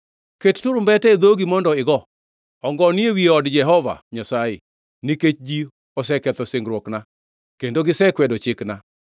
“Ket turumbete e dhogi mondo igo! Ongo ni ewi od Jehova Nyasaye, nikech ji oseketho singruokna kendo gisekwedo chikna.